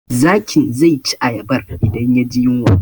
Zakin zai ci ayabar idan ya ji yunwa